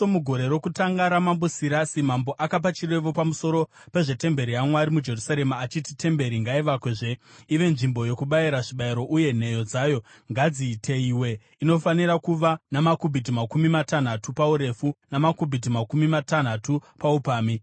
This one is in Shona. Mugore rokutanga raMambo Sirasi, mambo akapa chirevo pamusoro pezvetemberi yaMwari muJerusarema achiti: Temberi ngaivakwezve ive nzvimbo yokubayira zvibayiro, uye nheyo dzayo ngadziteyiwe. Inofanira kuva namakubhiti makumi matanhatu paurefu namakubhiti makumi matanhatu paupamhi,